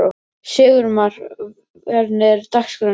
Sigurmar, hvernig er dagskráin í dag?